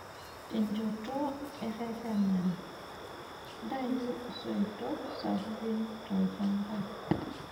Tenchoto eretenare:Ntayu isoitok sapukin tolchamba.